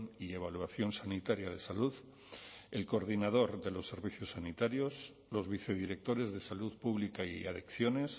y evaluación sanitaria de salud el coordinador de los servicios sanitarios los vicedirectores de salud pública y adicciones